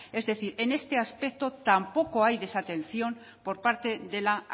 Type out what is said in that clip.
es decir en este aspecto tampoco hay desatención por parte de la